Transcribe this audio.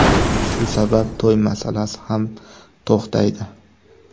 Shu sabab to‘y masalasi ham to‘xtaydi.